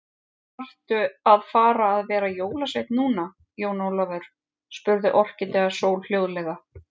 Þaðrftu að fara að vera jólasveinn núna, Jón Ólafur, spurði Orkídea Sól hljóðlega.